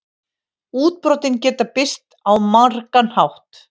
Útbrotin geta birst á margan hátt.